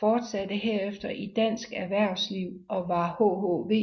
fortsatte herefter i dansk erhvervsliv og var hhv